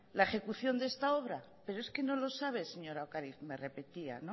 la ejecución de esta obra pero es que no lo sabe señora ocariz me repetía